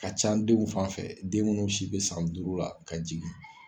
Ka ca denw fan fɛ, den munnu si be san duuru la ka jigin.